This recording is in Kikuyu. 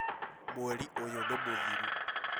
Mweri ũyũ nĩ mũthiru